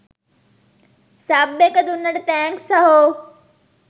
Sub එක දුන්නට thanks සහෝ.